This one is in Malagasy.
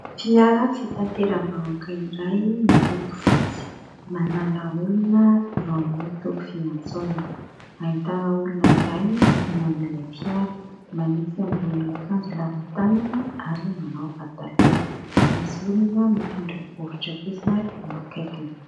fiara fitateramba ahoaka iray miloko fotsy manala olona eo amin'ny toby fiantsonana hahitana olona iray midinany ilay fiara manesy ambonin'ny akanjo lava-tanana ary manao pataloha misy olona mitondra boritra kosa eo akaikiny